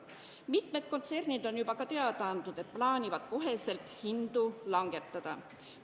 Mitmed kontsernid on juba teada andnud, et plaanivad kohe hindu langetada.